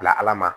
Bila ala ma